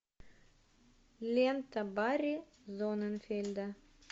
лента барри зонненфельда